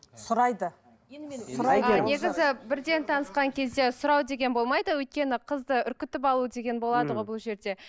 сұрайды сұрайды негізі бірден танысқан кезде сұрау деген болмайды өйткені қызды үркітіп алу деген болады ғой бұл жерде